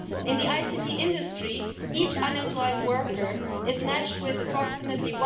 In the ICT industry each unemployed worker is matched with approximately